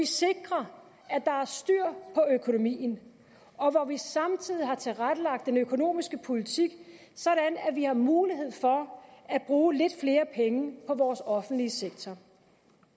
sikrer at der er styr på økonomien og hvor vi samtidig har tilrettelagt den økonomiske politik sådan at vi har mulighed for at bruge lidt flere penge på vores offentlige sektor